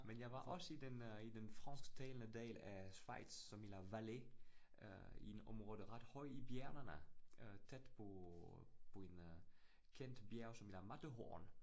Men jeg var også i den øh i den fransktalende del af Schweiz som i La Vallée øh i en område ret højt i bjergene øh tæt på på en øh kendt bjerg som hedder Matterhorn